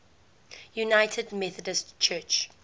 united methodist church